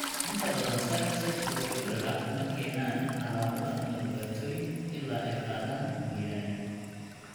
Inta badan sinuses preauricular ma keenaan calaamado ama dhibaatooyin ilaa ay qaadaan mooyaane.